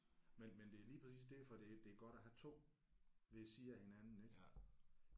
Men men det er lige præcis derfor det det er godt at have 2 ved siden af hinanden ik